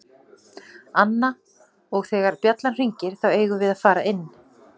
Anna: Og þegar bjallan hringir þá eigum við að fara inn.